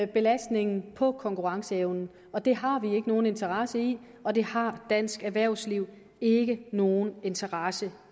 belastningen på konkurrenceevnen og det har vi ikke nogen interesse i og det har dansk erhvervsliv ikke nogen interesse